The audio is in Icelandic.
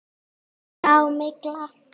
Grá. mygla!